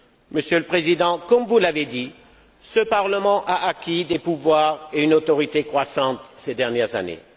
Monsieur le Président, comme vous l'avez dit, ce Parlement a acquis des pouvoirs et une autorité croissante ces dernières années.